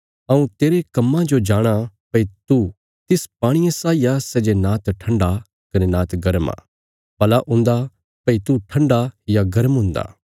हऊँ तेरे कम्मां जो जाणाँ भई तू तिस पाणिये साई आ सै जे नांत ठण्डा कने नांत गर्म आ भला हुन्दा भई तू ठण्डा या गर्म हुन्दा